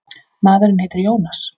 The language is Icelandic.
Maðurinn heitir Jónas.